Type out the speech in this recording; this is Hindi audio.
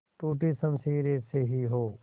टूटी शमशीरें से ही हो